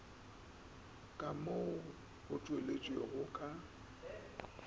ka mo o tšwelego ka